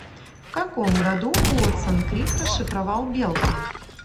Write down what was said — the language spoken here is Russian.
в каком году уотсон крик расшифровал белка